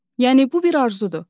Yəni bu bir arzudur.